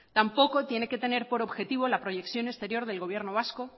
tampoco tiene que tener por objetivo la proyección exterior del gobierno vasco